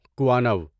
کوانو